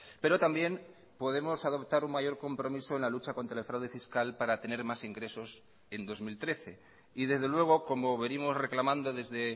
pero también podemos adoptar un mayor compromiso en la lucha contra el fraude fiscal para tener más ingresos en dos mil trece y desde luego como venimos reclamando desde